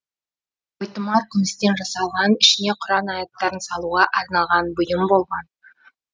бойтұмар күмістен жасалған ішіне құран аяттарын салуға арналған бұйым болған